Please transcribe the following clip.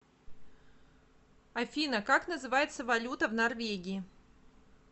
афина как называется валюта в норвегии